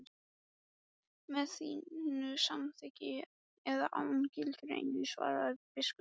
Með þínu samþykki eða án, gildir einu, svaraði biskup.